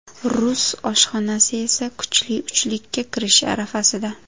Rus oshxonasi esa kuchli uchlikka kirish arafasida.